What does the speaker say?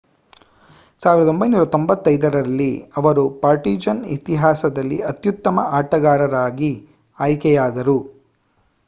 1995 ರಲ್ಲಿ ಅವರು ಪಾರ್ಟಿಜಾನ್ ಇತಿಹಾಸದಲ್ಲಿ ಅತ್ಯುತ್ತಮ ಆಟಗಾರರಾಗಿ ಆಯ್ಕೆಯಾದರು